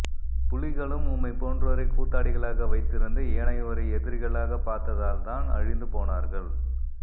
புலிகளும் உம்மை போன்றோரை கூத்தாடிகளாக வைத்திருந்து ஏனையோரை எதிரிகளாக பார்த்ததால் தான் அழிந்து போனார்கள்